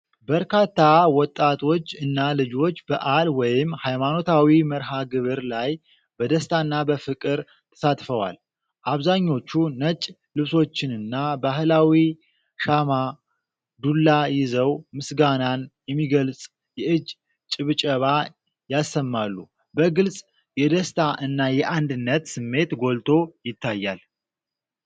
በርካታ ወጣቶች እና ልጆች በዓል ወይም ሃይማኖታዊ መርሃ ግብር ላይ በደስታና በፍቅር ተሳትፈዋል። አብዛኞቹ ነጭ ልብሶችንና ባህላዊ ሻማ (ዱላ) ይዘው፤ ምስጋናን የሚገልጽ የእጅ ጭብጨባ ያሰማሉ። በግልጽ የደስታ እና የአንድነት ስሜት ጎልቶ ይታያል።